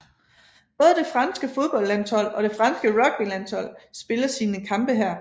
Både det franske fodboldlandshold og det franske rugbylandshold spiller sine kampe her